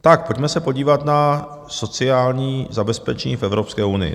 Tak pojďme se podívat na sociální zabezpečení v Evropské unii.